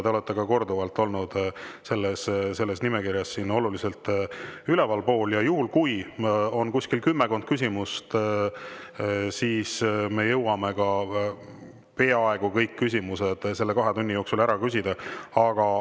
Te olete ka korduvalt olnud selles nimekirjas oluliselt kõrgemal ja juhul, kui on kümmekond küsimust, siis me jõuame peaaegu kõik küsimused selle kahe tunni jooksul ära küsida.